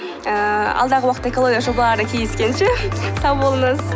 ііі алдағы уақытта экологиялық жобаларда кездескенше сау болыңыз